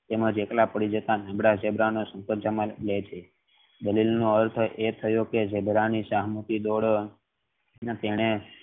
તેમાં એકલા પડી જતા ઝીબ્રા નું દલીલ નો અર્થ એ થયો કે ઝીબ્રા ને શાંતિ થી અને તેને